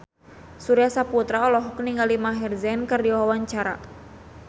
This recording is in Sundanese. Surya Saputra olohok ningali Maher Zein keur diwawancara